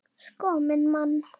Sko minn mann!